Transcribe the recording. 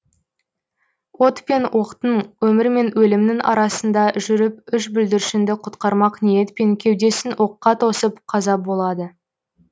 от пен оқтың өмір мен өлімнің арасында жүріп үш бүлдіршінді құтқармақ ниетпен кеудесін оққа тосып қаза болады